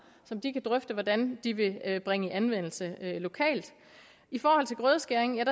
som de kan drøfte hvordan de vil bringe i anvendelse lokalt i forhold til grødeskæring